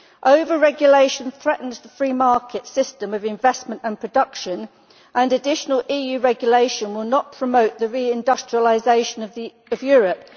Over-regulation threatens the free market system of investment and production, and additional EU regulation will not promote the re industrialisation of Europe.